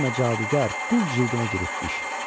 Sən demə cadugar qul cildinə giribmiş.